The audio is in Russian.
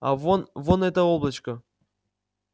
а вон вон это облачко